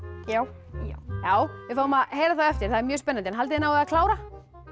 já við fáum að heyra það á eftir það er mjög spennandi haldið náið að klára